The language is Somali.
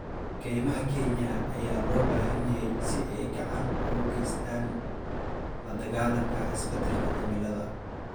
Kaymaha Kenya ayaa loo baahan yahay si ay gacan uga geystaan ??la dagaallanka isbeddelka cimilada.